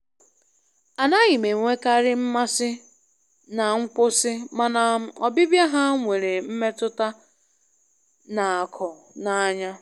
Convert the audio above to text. Anaghị m enwekarị mmasị na nkwụsị, mana ọbịbịa ha nwere mmetụta na-akụ n'anya.